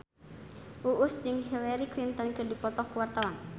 Uus jeung Hillary Clinton keur dipoto ku wartawan